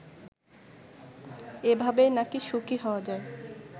এভাবেই নাকি সুখী হওয়া যায়